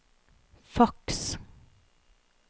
faks